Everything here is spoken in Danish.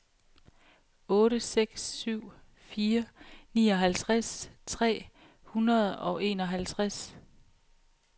otte seks syv fire nioghalvtreds tre hundrede og enoghalvtreds